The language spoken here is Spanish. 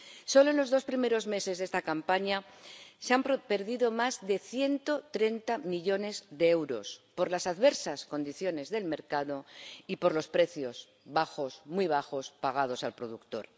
Solo en los dos primeros meses de esta campaña se han perdido más de 130 millones de euros por las adversas condiciones del mercado y por los precios —bajos, muy bajos— pagados al productor.